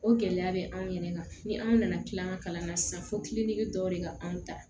O gɛlɛya bɛ anw yɛrɛ kan ni anw nana tila ka kalan na sisan fo kiliniki dɔw de ka anw ta